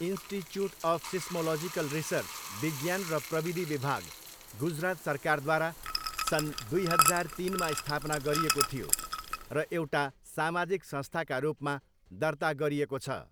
Institute of seismological research, विज्ञान र प्रविधि विभाग, गुजरात सरकारद्वारा सन् दिई हजार तिनमा स्थापना गरिएको थियो र एउटा सामाजिक संस्थाका रूपमा दर्ता गरिएको छ।